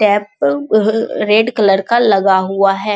Tap अ ऊ red colour का लगा हुआ है।